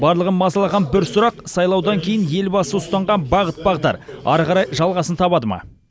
барлығын мазалаған бір сұрақ сайлаудан кейін елбасы ұстанған бағыт бағдар ары қарай жалғасын таба ма